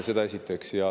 Seda esiteks.